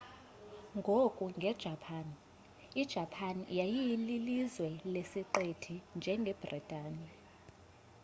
ngoku nge japan ijapan yayililizwe lesiqithi njengebritane